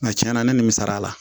Nka tiɲɛna ne nimisara